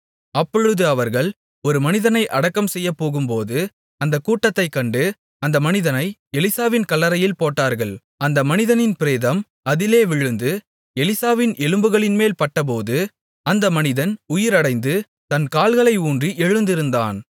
அப்பொழுது அவர்கள் ஒரு மனிதனை அடக்கம் செய்யப்போகும்போது அந்தக் கூட்டத்தைக் கண்டு அந்த மனிதனை எலிசாவின் கல்லறையில் போட்டார்கள் அந்த மனிதனின் பிரேதம் அதிலே விழுந்து எலிசாவின் எலும்புகளின்மேல் பட்டபோது அந்த மனிதன் உயிரடைந்து தன் கால்களை ஊன்றி எழுந்திருந்தான்